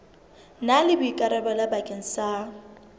na le boikarabelo bakeng sa